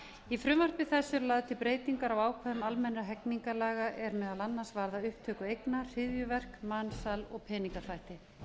í frumvarpi þessu eru lagðar til breytingar á ákvæðum almennra hegningarlaga er meðal annars varða upptöku eigna hryðjuverk mansal og peningaþvætti